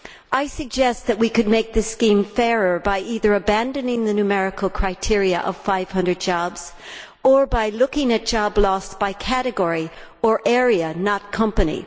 I suggest that we could make this scheme fairer by either abandoning the numerical criteria of 500 jobs or by looking at job loss by category or area, not company.